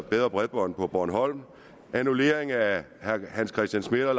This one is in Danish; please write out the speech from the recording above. bedre bredbånd på bornholm annullering af herre hans christian schmidt og